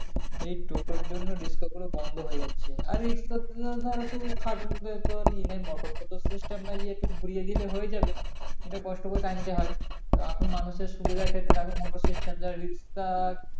এই টোটো এর জন্য রিক্সা পুরো বন্ধ হয়ে যাচ্ছে আর রিক্সা ধর তো খাটে ই নাই মোটর stand ঘুরিয়ে দিলে হয়ে যাবে এটা কষ্ট করে টানতে হয় এখন মানুষের সুবিধা এর রিক্সা